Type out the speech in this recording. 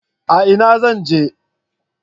A'a na zan je ba